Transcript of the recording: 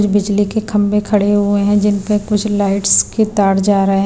बिजली के खंबे खड़े हुए हैं जिन पर कुछ लाइट्स के तार जा रहे हैं ।